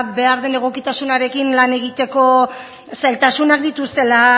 behar den egokitasunarekin lan egiteko zailtasunak dituztela